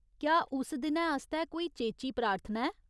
क्या उस दिनै आस्तै कोई चेची प्रार्थना ऐ ?